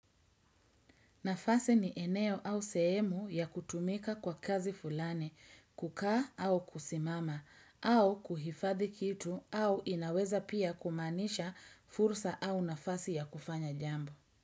Nafasi ni eneo au sehemu ya kutumika kwa kazi fulani, kukaa au kusimama, au kuhifadhi kitu au inaweza pia kumaanisha fursa au nafasi ya kufanya jambo.